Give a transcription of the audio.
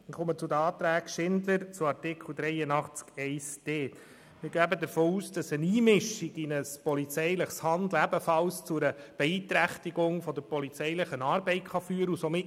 Ich komme zu Antrag Schindler/SP-JUSO-PSA zu Artikel 83 Absatz 1 Buchstabe d. Wir gehen davon aus, dass eine Einmischung in polizeiliches Handeln ebenfalls zu einer Beeinträchtigung der polizeilichen Arbeit führen kann.